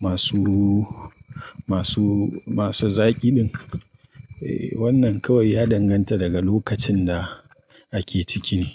masu, masu, masu zaƙi ɗin. Eh, wannan kawai ya danganta daga lokacin da ake ciki ne.